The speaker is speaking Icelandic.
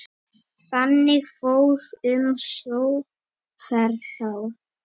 Þannig fór um sjóferð þá.